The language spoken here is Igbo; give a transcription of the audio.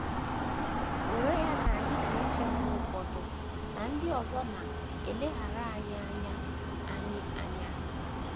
Were ya na anyị na - eche mgbe ụfọdụ na ndị ọzọ na - eleghara anyị anya anyị anya.